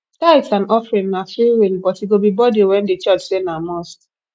tithes and offering na freewill but e go be burden when di church say na must